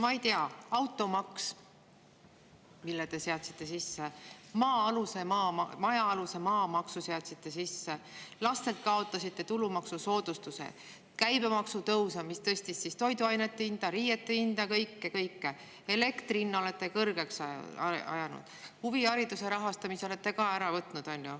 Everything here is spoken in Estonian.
Ma ei tea, automaksu te seadsite sisse, majaaluse maamaksu seadsite sisse, laste pealt kaotasite tulumaksusoodustuse, käibemaksutõus on tõstnud toiduainete hindu, riiete hindu, kõike, kõike, elektri hinna olete kõrgeks ajanud, huvihariduse rahastamise olete ka ära võtnud.